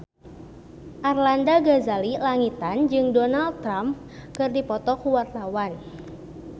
Arlanda Ghazali Langitan jeung Donald Trump keur dipoto ku wartawan